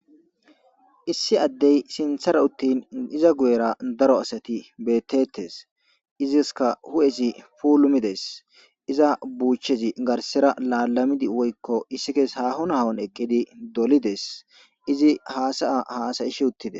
issi addey sinthara uttin iza guyera daro asati bettettes iziska hu7ezi pulumides iza buuchezi garsera laalamidi woykko issi keese hahon hhon eqqidi dolides izi haasaya haasayish uttides